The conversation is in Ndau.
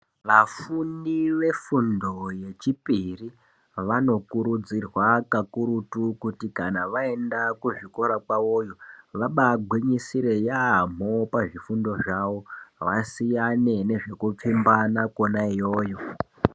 Vafundi vefundo yechipiri vanokurudzirwa kakurutu kuti kana vaenda kuzvikora kwavoyo vabagwinyisire yamho pazvifundo zvawo vasiyane nezvekupfimbana Kona iyoyo.